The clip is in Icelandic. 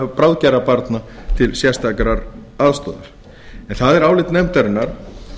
bráðgerra barna til sérstakrar aðstoðar er það álit nefndarinnar